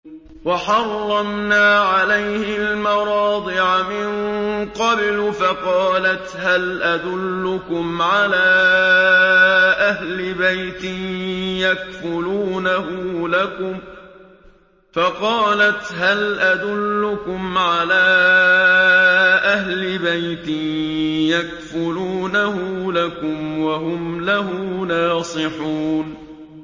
۞ وَحَرَّمْنَا عَلَيْهِ الْمَرَاضِعَ مِن قَبْلُ فَقَالَتْ هَلْ أَدُلُّكُمْ عَلَىٰ أَهْلِ بَيْتٍ يَكْفُلُونَهُ لَكُمْ وَهُمْ لَهُ نَاصِحُونَ